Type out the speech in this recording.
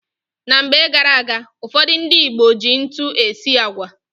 Na mgbe gara-aga, ụfọdụ ndị Igbo ji ntu esi agwa.